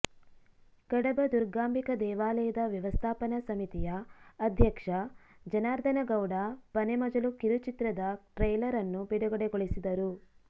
ಕಡಬ ದುರ್ಗಾಂಬಿಕಾ ದೇವಾಲಯದ ವ್ಯವಸ್ಥಾಪನಾ ಸಮಿತಿಯ ಅಧ್ಯಕ್ಷ ಜನಾರ್ಧನ ಗೌಡ ಪನೆಮಜಲು ಕಿರುಚಿತ್ರದ ಟ್ರೈಲರ್ ಅನ್ನು ಬಿಡುಗಡೆ ಗೊಳಿಸಿದರು